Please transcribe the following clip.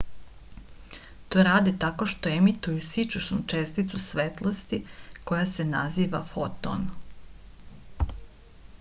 to rade tako što emituju sićušnu česticu svetlosti koja se naziva foton